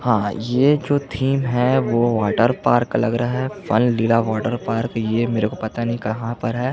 हा ये जो थीम है वो वॉटर पार्क का लग रहा है फन लीला वॉटर पार्क ये मेरे को पता नहीं कहाँ पर है।